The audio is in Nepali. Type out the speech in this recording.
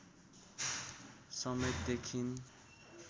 समेत देखिन